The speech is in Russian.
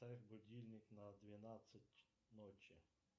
поставь будильник на двенадцать ночи